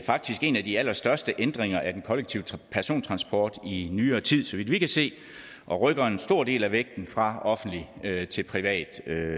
faktisk en af de allerstørste ændringer af den kollektive persontransport i nyere tid så vidt vi kan se og rykker en stor del af vægten fra offentlig til privat